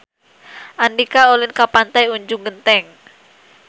Andika ulin ka Pantai Ujung Genteng